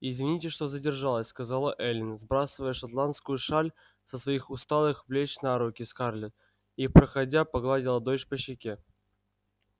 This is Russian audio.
извините что задержалась сказала эллин сбрасывая шотландскую шаль со своих усталых плеч на руки скарлетт и проходя погладила дочь по щеке